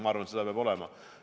Ma arvan, et seda peab olema.